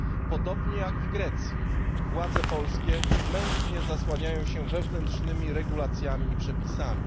Podobnie jak w Grecji, władze polskie mętnie zasłaniają się wewnętrznymi regulacjami i przepisami.